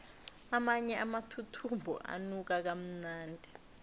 amanye amathuthumbo anuka kamnandi